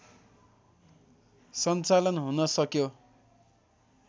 सञ्चालन हुन सक्यो